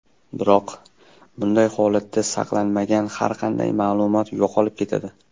Biroq, bunday holatda saqlanmagan har qanday ma’lumot yo‘qolib ketadi.